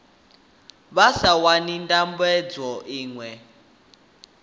vha sa wani ndambedzo iṅwe